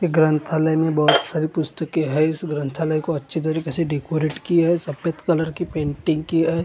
ग्रंथालय में बहोत सारी पुस्तके है इस ग्रंथालय को अच्छी तरीके से डेकोरेट किया है सफेद कलर की पेंटिंग किया है।